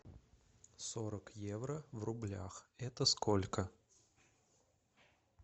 сорок евро в рублях это сколько